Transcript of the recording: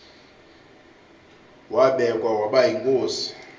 wabekwa waba yinkosi